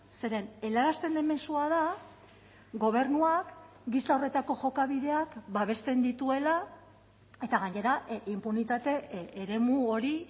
zeren helarazten den mezua da gobernuak gisa horretako jokabideak babesten dituela eta gainera inpunitate eremu hori